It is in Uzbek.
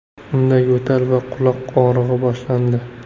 Unda yo‘tal va quloq og‘rig‘i boshlandi.